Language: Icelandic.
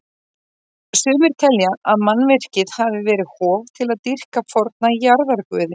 Sumir telja að mannvirkið hafi verið hof til að dýrka forna jarðarguði.